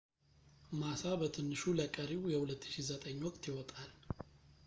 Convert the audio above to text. ማሳ በትንሹ ለቀሪው የ2009 ወቅት ይወጣል